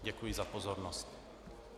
Děkuji za pozornost.